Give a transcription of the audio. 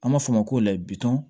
An b'a fɔ o ma ko layi bitɔn